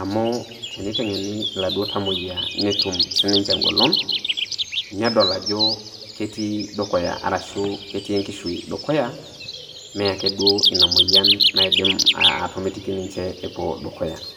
amu tenitengeni iladuo tamoyia netum sininche engolon, nedol ajo keeti dukuya ashu keeti enkishui dukuya, mee ake duo ina moyian naidim atomitiki ninche epuo dukuya.